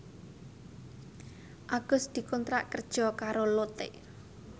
Agus dikontrak kerja karo Lotte